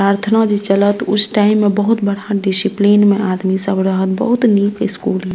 प्रार्थना जे चालत उस टाइम बहुत बड़ा डिसिप्लिन में आदमी सब रहत बहुत निक स्कूल --